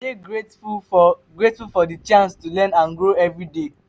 i dey grateful for grateful for di chance to learn and grow every day.